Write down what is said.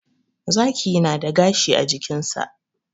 Zaki na da gashi a jikinsa.